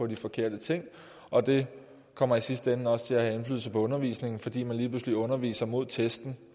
de forkerte ting og det kommer i sidste ende også til at have indflydelse på undervisningen fordi man lige pludselig underviser hen imod testen